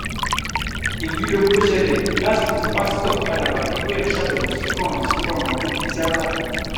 èyí lohun tó ṣẹlẹ̀ lásìkò tí pásítọ̀ àgbàlá gabriel ṣàbẹ̀wò sí kànrán sí kànrán onítìata